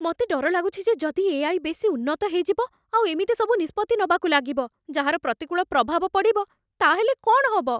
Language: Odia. ମତେ ଡର ଲାଗୁଚି ଯେ ଯଦି ଏ. ଆଇ. ବେଶି ଉନ୍ନତ ହେଇଯିବ ଆଉ ଏମିତି ସବୁ ନିଷ୍ପତ୍ତି ନବାକୁ ଲାଗିବ ଯାହାର ପ୍ରତିକୂଳ ପ୍ରଭାବ ପଡ଼ିବ, ତା'ହେଲେ କ'ଣ ହବ ।